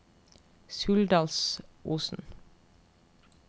Suldalsosen